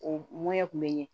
O ŋɔni ɲɛ kun bɛ ɲɛ